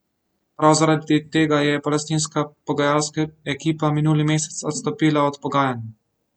Prav zaradi tega je palestinska pogajalska ekipa minuli mesec odstopila od pogajanj.